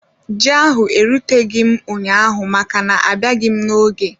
Ji ahụ eruteghị m ụnyaahụ maka na abịaghị m n'oge